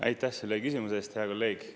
Aitäh selle küsimuse eest, hea kolleeg!